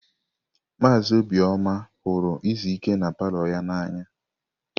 Maazị Obioma ihuru izu ike na palọ ya n'anya.